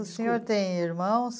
O senhor tem irmãos?